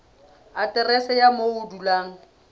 aterese ya moo o dulang